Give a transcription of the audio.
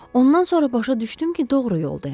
Ondan sonra başa düşdüm ki, doğru yoldayam.